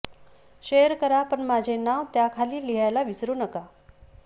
share करा पण माझे नाव त्याखाली लिहायला विसरू नका